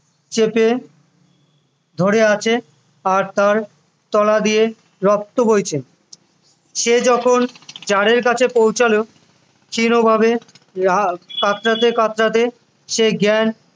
চেপে ধরে আছে আর তার তলা দিয়ে রক্ত বইছে সে যখন জারের কাছে পৌঁছাল ক্ষীণ ভাবে কাতরাতে কাতরাতে সে জ্ঞান